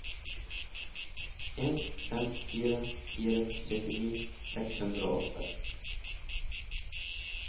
en fem fire fire syttini seks hundre og åtte